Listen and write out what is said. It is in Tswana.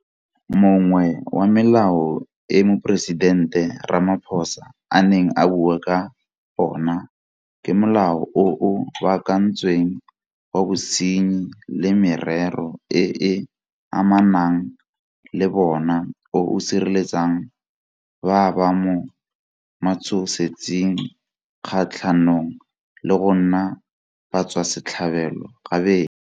Mongwe wa melao e Moporesidente Ramaphosa a neng a bua ka ona ke Molao o o Baakantsweng wa Bosenyi le Merero e e Amanang le bona o o sireletsang ba ba mo matshosetsing kgatlhanong le go nna batswasetlhabelo gabedi.